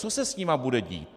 Co se s nimi bude dít?